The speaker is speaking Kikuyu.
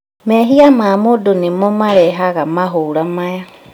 Mehia ma mũndũ nĩmo marehaga mahũra maya